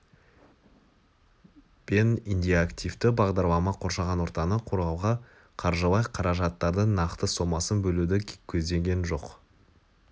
пен индикативті бағдарлама қоршаған ортаны қорғауға қаржылай қаражаттардың нақты сомасын бөлуді көздеген жоқ